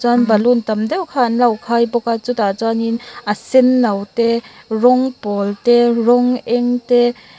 chuan balloon tam deuh kha an lo khai bawk a chutah chuanin a senno te rawng pawl te rawng eng te--